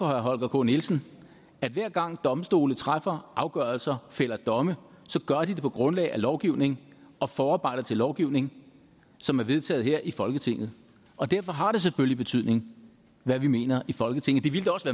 holger k nielsen at hver gang domstolene træffer afgørelser fælder domme så gør de det på grundlag af lovgivning og forarbejder til lovgivning som er vedtaget her i folketinget derfor har det selvfølgelig betydning hvad vi mener i folketinget det ville da også